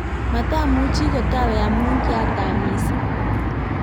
matamuchi kotawe amu kiatam mising'